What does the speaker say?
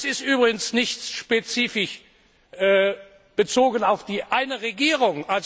Und das ist übrigens nicht spezifisch bezogen auf eine Regierung.